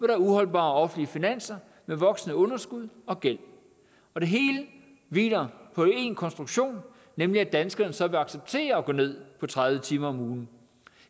er uholdbare offentlige finanser med voksende underskud og gæld og det hele hviler på én konstruktion nemlig at danskerne så vil acceptere at gå ned på tredive timer om ugen